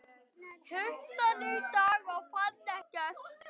Hitti hann í dag og fann ekkert.